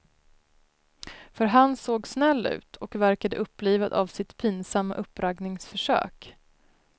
För han såg snäll ut, och verkade upplivad av sitt pinsamma uppraggningsförsök.